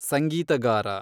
ಸಂಗೀತಗಾರ